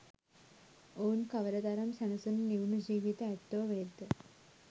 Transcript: ඔවුන් කවර තරම් සැනසුණු නිවුනු ජීවිත ඇත්තෝ වෙත්ද?